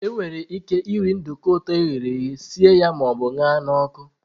Enwere ike iri nduko dị ụtọ e ghere eghe, sie ya ma ọ bụ ṅara n'ọkụ.